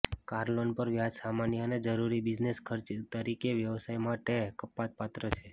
car loan પર વ્યાજ સામાન્ય અને જરૂરી બિઝનેસ ખર્ચ તરીકે વ્યવસાય માટે કપાતપાત્ર છે